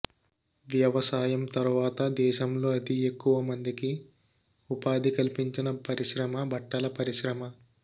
వ్యవసాయం తరువాత దేశంలో అతి ఎక్కువ మందికి ఉపాధి కల్పించిన పరిశ్రమ బట్టల పరిశ్రమ